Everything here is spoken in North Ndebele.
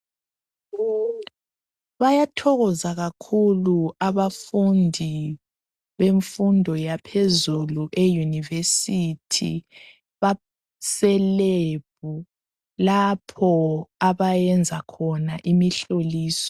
Bayathokoza kakhulu abafundi bemfundo yaphezulu eyunivesithi baselebhu lapho abayenza khona imihloliso.